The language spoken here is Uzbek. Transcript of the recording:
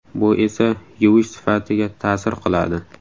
Bu esa yuvish sifatiga ta’sir qiladi.